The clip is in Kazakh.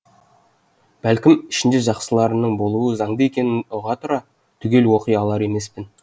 бәлкім ішінде жақсыларының болуы заңды екенін ұға тұра түгел оқи алар емеспін